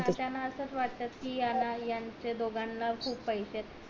त्याना असच वाट कि याना यांच्या दोघांना खूप पैसेत